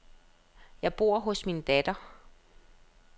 Jeg bor hos min datter.